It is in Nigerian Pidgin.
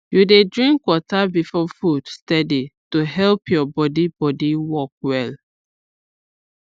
you dey drink water before food steady to help your body body work well